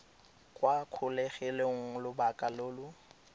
kwa kgolegelong lobaka lo lo